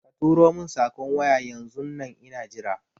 Katuro mun saƙon waya yanzun nan ina jira